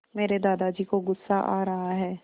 मेरे दादाजी को गुस्सा आ रहा है